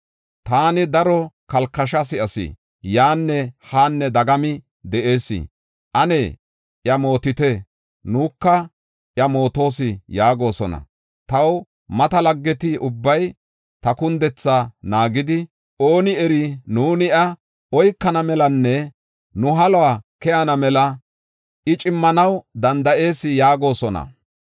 Taani daro kalkasha si7as; “Yan han dagami de7ees! Ane iya mootite! Nuunika iya mootoos” yaagosona. Taw mata laggeti ubbay ta kundethaa naagidi, “Ooni eri, nuuni iya oykana melanne nu haluwa keyana mela, I cimmanaw danda7ees” yaagosona.